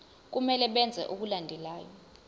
kumele benze okulandelayo